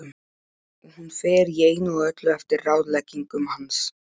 Og hún fer í einu og öllu eftir ráðleggingum hans.